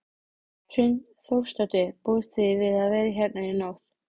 Hrund Þórsdóttir: Búist þið við að vera hérna í nótt?